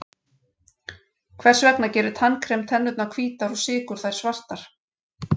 Hvers vegna gerir tannkrem tennurnar hvítar og sykur þær svartar?